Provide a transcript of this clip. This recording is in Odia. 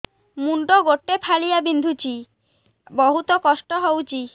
ମୁଣ୍ଡ ଗୋଟେ ଫାଳିଆ ବିନ୍ଧୁଚି ବହୁତ କଷ୍ଟ ହଉଚି